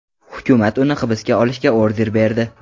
Hukumat uni hibsga olishga order berdi.